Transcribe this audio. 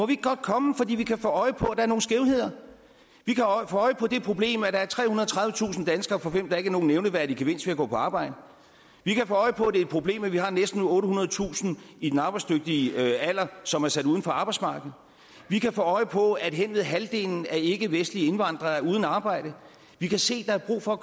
ikke godt komme for vi kan få øje på er nogle skævheder vi kan få øje på det problem at der er trehundrede og tredivetusind danskere for hvem der ikke er nogen nævneværdig gevinst ved at gå på arbejde vi kan få øje på det et problem at vi har næsten ottehundredetusind i den arbejdsdygtige alder som er sat uden for arbejdsmarkedet vi kan få øje på at hen ved halvdelen af ikkevestlige indvandrere er uden arbejde vi kan se at der er brug for at